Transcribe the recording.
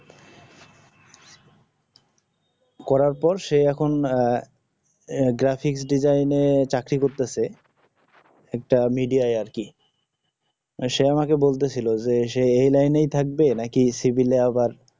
করার পর সে এখন আহ graphics design এ চাকরি করতেছে একটা media যায় আর কি সে আমাকে বলতেছিল যে এই লাইনে থাকবে নাকি সিভিলে আবার